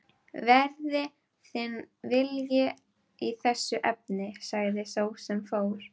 Verði þinn vilji í þessu efni sagði sá sem fór.